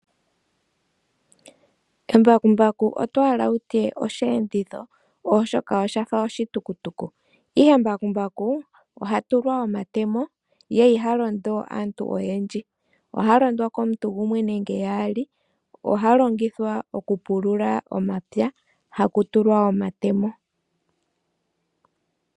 Embakumbaku otohala wutye oshiyenditho oshoka oshafa oshitukutuku ihe mbakumbaku oha tulwa omatemo ye ihalondwa kaantu oyendji, oha londwa komuntu gumwe nenge yaali . Oha longithwa oku pulula omapya haku tulwa omatemo